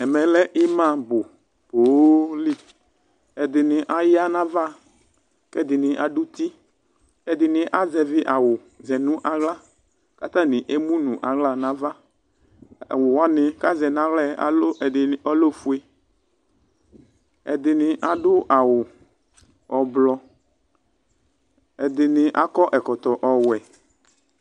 Ɛmɛ lɛ ima bʋ pooli ɛdini aya nʋ ava kʋ ɛdini adʋ uti ɛdini azɛvi awʋ zɛnʋ aɣla kʋ atani emʋnʋ aɣla nʋ ava awʋ wani kʋ azɛ nʋ aɣlɛ ɛdini alɛ ofue ɛdini adʋ awʋ ɔblɔ ɛdini akɔ ɛkɔtɔ ɔwʋɛ